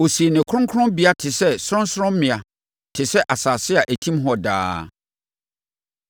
Ɔsii ne kronkronbea te sɛ sorɔnsorɔmmea, te sɛ asase a ɛtim hɔ daa.